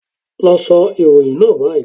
Lọ sọ ìròyìn náà báyìí